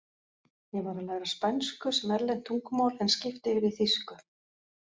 Ég var að læra spænsku sem erlent tungumál en skipti yfir í þýsku.